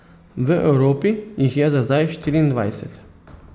V Evropi jih je za zdaj štiriindvajset.